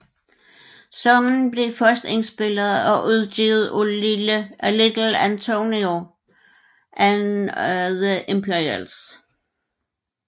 Sangen blev først indspillet og udgivet af Little Anthony and the Imperials